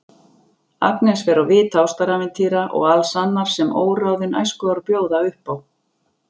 Agnes fer á vit ástarævintýra og alls annars sem óráðin æskuár bjóða upp á.